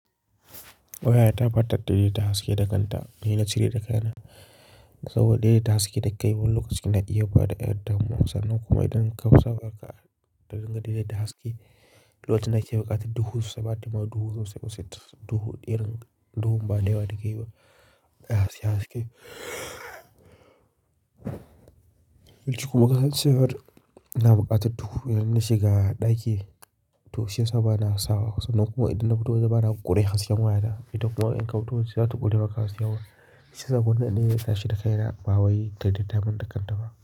Wayata ba ta tare ta haske da kanta. Ni na cire ta kai na. Saboda daidaita haske da kai wani lokaci na iya bada ɗan damuwa. Sannan kuma idan ka fasa harka da dinga daidaita haske, lokacin na iya buƙatar duhu saboda ma duhu zai busher duhu, idan duhun ba dai ba da ke yi ba, ya haske haske. Kuma kasancewar na buƙatar duhu idan nashi ga ɗaki, to shi ya sa ba na sawa kusa. Sannan kuma idan na fito da waje bana buƙi dai hasken wayata. Itan kuma in kafuto waje za ta buɗe maka hasken. Shi saboda naɗe na tashi da kaina, ba wai ta daidaita man da kanta ba.